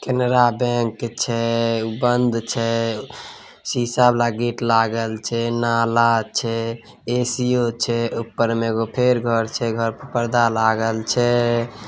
Canara bank छै उ बंद छै शिशा वाला गेट लागल छै नाला छै ऐ_सी_यो छै ऊपर में एगो फेर घर छै घर में पर्दा लागल छै।